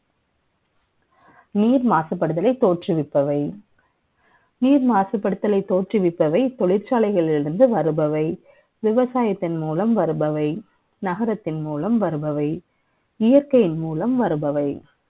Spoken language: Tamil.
நீர் மாசுபடுதலை தோற்றுவிப்பவை நீர் மாசுபடுதல் தோற்றுவிப்பவை தொழிற்சாலைகளில் இருந்து வருபவை விவசாயத்தின் மூலம் வருபவை நகரத்தின் மூலம் வருபவை இயற்கையின் மூலம் வருபவை